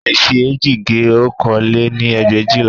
A leè fi eéjì gé okòó lé-ní ẹgbẹ̀éjìlá